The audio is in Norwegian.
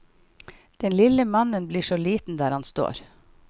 Den lille mannen blir så liten der han står.